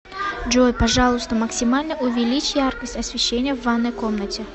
джой пожалуйста максимально увеличь яркость освещения в ванной комнате